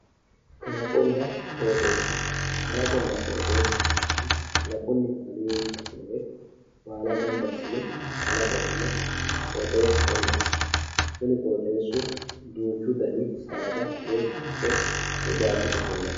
Kalaqona qoxesa kalaqonna qoxesaho yinemori kalaqonna kaliqi kalaqinori balla ganba asine kalaqona qoxesaho yinani kunino qoxesu duchu danihu sadda haqqe batote ofoliti